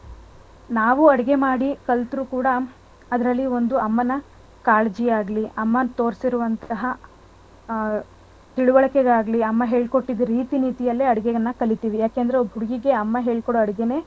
ನಾವ್ ಅಡ್ಗೆ ಮಾಡಿ ಕಲ್ತರೂ ಕೂಡಾ ಅದ್ರಲ್ಲಿ ಒಂದು ಅಮ್ಮನ ಕಾಲಜಿಯಾಗ್ಲಿ ಅಮ್ಮ ತೋರಿಸಿರುವಂತ್ತಹ ಆ ತಿಳ್ವಳ್ಕೇಯಾಗ್ಲಿ ಅಮ್ಮ ಹೇಳ್ಕೊಟ್ಟಿದ್ ರೀತಿ ನೀತಿಯಲ್ಲೇ ಅಡ್ಗೆನ ಕಲಿತೀವಿ ಯಾಕೇಂದ್ರೆ ಅಮ್ಮ ಹೇಳ್ಕೊಡೋ ಅಡ್ಗೆನೇ,